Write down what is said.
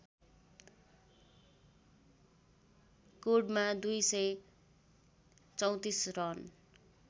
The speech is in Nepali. कोर्डमा २ सय ३४ रन